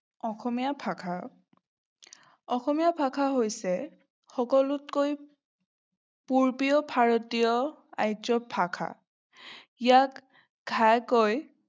অখমীয়া ভাষা অসমীয়া হৈছে সকলোতকৈ পুৰবীয় ভাৰতীয় আৰ্য্যক ভাষা। ইয়াত ঘাইকৈ